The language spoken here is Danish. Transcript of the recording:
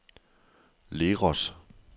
Leros